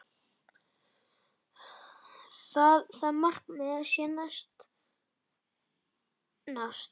Það markmið sé að nást.